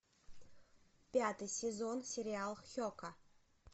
пятый сезон сериал хека